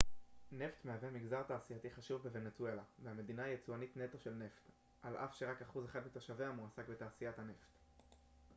נפט מהווה מגזר תעשייתי חשוב בוונצואלה והמדינה היא יצואנית נטו של נפט על אף שרק אחוז אחד מתושביה מועסק בתעשיית הנפט